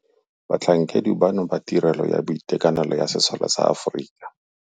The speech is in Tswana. Batlhankedi bano ba Tirelo ya Boitekanelo ya Sesole sa Aforika.